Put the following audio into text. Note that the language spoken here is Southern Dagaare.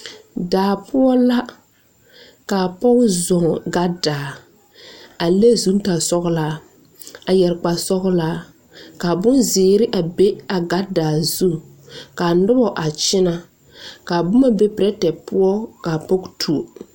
Daa poɔ la ka a pɔge zɔɔ gadaa a le zutare sɔglɔ a yɛre kparre sɔglaa ka bonzee be daa zu ka a noba a kyɛnɛ ka a boma be pɛrɛtɛ poɔ ka a pɔge tuo.